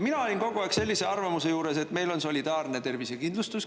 Mina olin kogu aeg sellise arvamuse juures, et meil on solidaarne tervisekindlustus.